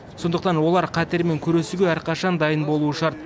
сондықтан олар қатермен күресуге әрқашан дайын болуы шарт